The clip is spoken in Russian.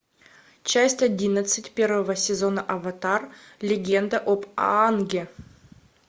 часть одиннадцать первого сезона аватар легенда об аанге